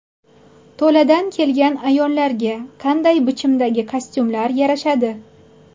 To‘ladan kelgan ayollarga qanday bichimdagi kostyumlar yarashadi?